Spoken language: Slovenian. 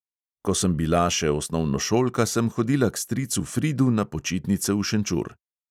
Ko sem bila še osnovnošolka, sem hodila k stricu fridu na počitnice v šenčur.